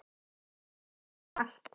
Er of kalt.